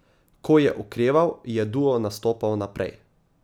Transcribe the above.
Ko je okreval, je duo nastopal naprej.